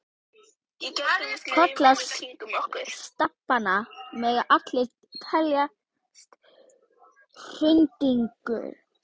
Kollar stapanna mega allir teljast hraundyngjur.